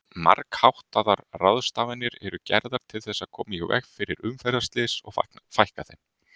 Margháttaðar ráðstafanir eru gerðar til þess að koma í veg fyrir umferðarslys og fækka þeim.